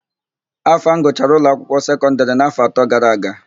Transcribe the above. Afam gụchara ụlọakwụkwọ sekọndịrị n'áfọ̀ atọ gara aga.